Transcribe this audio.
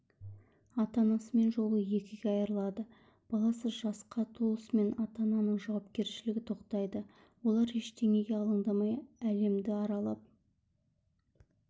ата-анасымен жолы екіге айырылады баласы жасқа толысымен ата-ананың жауапкершілігі тоқтайды олар ештеңеге алаңдамай әлемді аралап